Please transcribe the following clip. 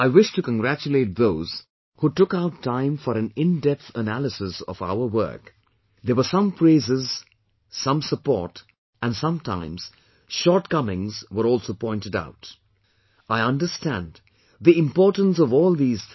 I wish to congratulate those who took out time for an in depth analysis of our work, there were some praises some support and sometimes shortcomings were also pointed out, I understand the importance of all these things